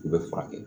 U bɛ furakɛ